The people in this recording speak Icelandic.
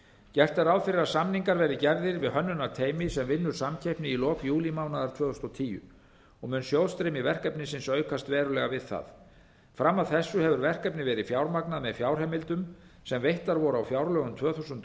gert er ráð fyrir að samningar verði gerðir við hönnunarteymi sem vinnur samkeppni í lok júlímánaðar tvö þúsund og tíu og mun sjóðstreymi verkefnisins aukast verulega við það fram að þessu hefur verkefnið verið fjármagnað með fjárheimildum sem veittar voru á fjárlögum tvö þúsund og